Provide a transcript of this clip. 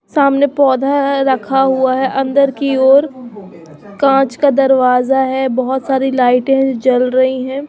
सामने पोधा है रखा हुआ है अंदर कि ओर कांच का दरवाज़ा है बहोत सारी लाइटें हैं जो जल रही हैं।